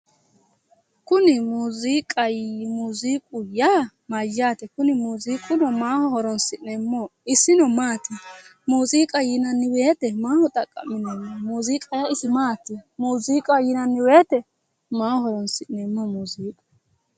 Kuni muuziiqu yaa mayyaate kuni muuziiquno maaho horoonsi'neemmoho isino maati muuuziiqa yinanni woyte maaho xaqqa'mineemmo muuziiqa yaa isi maati muuziiqaho yinanni woyte maaho horoonsi'neemmoho muuziiqu